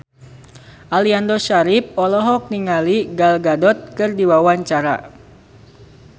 Aliando Syarif olohok ningali Gal Gadot keur diwawancara